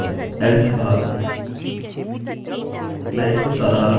मैं इसको साधारण और सिंगल लाइन में रखने के लिए इन कर्ली कोष्ठकों को जोड़ूँगा